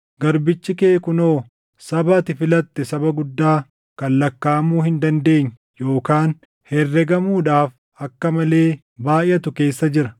Garbichi kee kunoo saba ati filatte saba guddaa, kan lakkaaʼamuu hin dandeenye yookaan herregamuudhaaf akka malee baayʼatu keessa jira.